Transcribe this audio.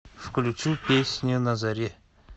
включи песню на заре